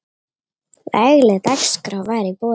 Vegleg dagskrá var í boði.